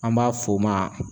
An b'a f'o ma